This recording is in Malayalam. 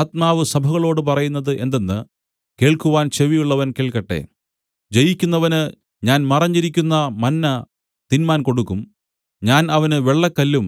ആത്മാവ് സഭകളോടു പറയുന്നത് എന്തെന്ന് കേൾക്കുവാൻ ചെവിയുള്ളവൻ കേൾക്കട്ടെ ജയിക്കുന്നവന് ഞാൻ മറഞ്ഞിരിക്കുന്ന മന്ന തിന്മാൻ കൊടുക്കും ഞാൻ അവന് വെള്ളക്കല്ലും